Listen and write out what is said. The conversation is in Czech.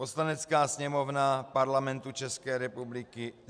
Poslanecká sněmovna Parlamentu České republiky